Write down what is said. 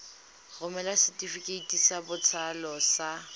romela setefikeiti sa botsalo sa